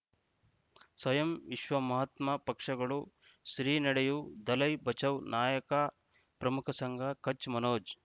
ಸ್ವಯಂ ವಿಶ್ವ ಮಹಾತ್ಮ ಪಕ್ಷಗಳು ಶ್ರೀ ನಡೆಯೂ ದಲೈ ಬಚೌ ನಾಯಕ ಪ್ರಮುಖ ಸಂಘ ಕಚ್ ಮನೋಜ್